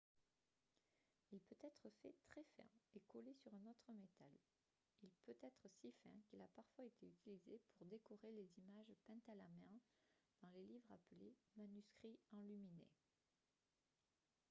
il peut être fait très fin et collé sur un autre métal. il peut être si fin qu'il a parfois été utilisé pour décorer les images peintes à la main dans les livres appelés « manuscrits enluminés »